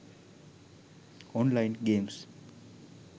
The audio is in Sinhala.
online games